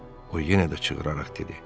O yenə də çığıraraq dedi: